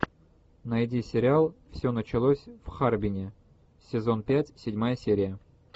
найди сериал все началось в харбине сезон пять седьмая серия